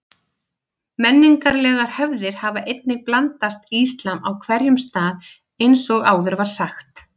Menningarlegar hefðir hafa einnig blandast íslam á hverjum stað eins og áður var sagt.